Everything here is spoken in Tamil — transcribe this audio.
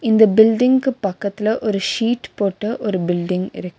இந்த பில்டிங்க்கு பக்கத்துல ஒரு ஷீட் போட்ட ஒரு பில்டிங் இருக்--